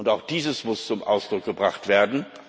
Auch das muss zum Ausdruck gebracht werden.